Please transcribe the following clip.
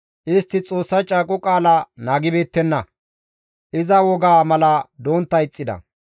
Istti Xoossa caaqo qaala naagibeettenna; iza wogaa mala dontta ixxida.